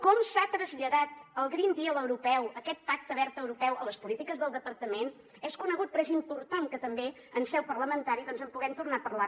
com s’ha traslladat el green deal europeu aquest pacte verd europeu a les polítiques del departament és conegut però és important que també en seu parlamentària doncs en puguem tornar a parlar